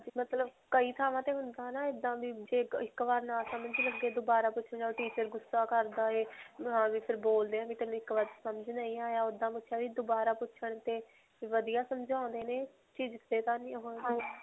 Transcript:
ਹਾਂਜੀ. ਮਤਲਬ ਕਈ ਥਾਂਵਾਂ ਤੇ ਹੁੰਦਾ ਹੈ ਨਾ ਇੱਦਾਂ ਵੀ ਜੇ ਇੱਕ ਬਾਰ ਨਾ ਸਮਝ ਲੱਗੇ ਦੋਬਾਰਾ ਪੁੱਛਣ ਜਾਓ teacher ਗੁੱਸਾ ਕਰਦਾ ਹੈ ਬੋਲਦੇ ਹੈ ਸਮਝ ਨਹੀਂ ਆਇਆ. ਓੱਦਾਂ ਦੋਬਾਰਾ ਪੁੱਛਣ ਤੇ ਵਧੀਆ ਸਮਝਾਉਂਦੇ ਨੇ ਖਿਜਦੇ ਤਾਂ ਨਹੀਂ ਓਹੋ.